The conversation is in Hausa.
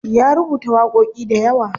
Ya rubuta waƙoƙi dayawa.